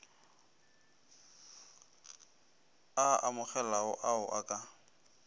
a amogelegago ao o ka